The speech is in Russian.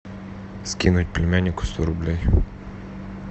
скинуть племяннику сто рублей